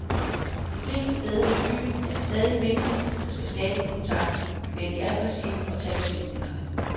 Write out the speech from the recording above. De fleste steder i byen er det stadig mændene, der skal skabe kontakten, være de aggressive og tage beslutningerne.